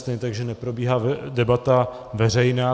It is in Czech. Stejně tak že neprobíhá debata veřejná.